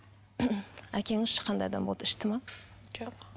әкеңіз ше қандай адам болды ішті ме жоқ